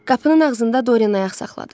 Qapının ağzında Doryen ayaq saxladı.